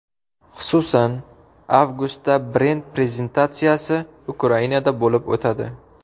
Xususan, avgustda brend prezentatsiyasi Ukrainada bo‘lib o‘tadi.